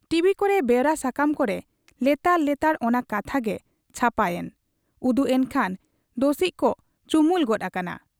TV ᱠᱚᱨᱮ ᱵᱮᱣᱨᱟ ᱥᱟᱠᱟᱢ ᱠᱚᱨᱮ ᱞᱮᱛᱟᱲ ᱞᱮᱛᱟᱲ ᱚᱱᱟ ᱠᱟᱛᱷᱟᱜᱮ ᱪᱷᱟᱯᱟᱭᱮᱱ, ᱩᱫᱩᱜ ᱮᱱ ᱠᱷᱟᱱ ᱫᱚᱥᱤᱡ ᱠᱚ ᱪᱩᱢᱩᱞ ᱜᱚᱫ ᱟᱠᱟᱱᱟ ᱾